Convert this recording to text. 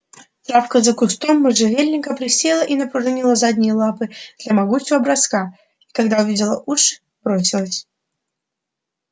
травка за кустом можжевельника присела и напружинила задние лапы для могучего броска и когда увидела уши бросилась